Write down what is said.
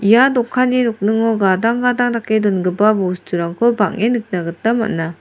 ia dokanni nokningo gadang gadang dake dongipa bosturangko bang·en nikna gita man·a.